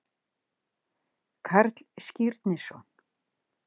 Karl Skírnisson.